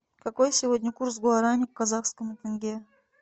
какой сегодня курс гуарани к казахскому тенге